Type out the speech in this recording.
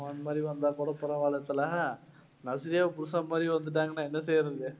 பகவான் மாதிரி வந்தா கூட பரவால்ல தல. நஸ்ரியா புருஷன் மாதிரி வந்துட்டாங்கன்னா என்ன செய்யறது?